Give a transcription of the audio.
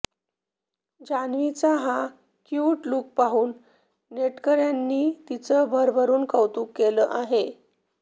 जान्हवीचा हा cute look पाहून नेटकऱ्यांनी तिचं भरभरून कौतुक केलं आहे